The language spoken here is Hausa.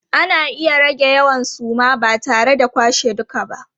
Ana iya rage yawan suma na tare da kwashe duka ba.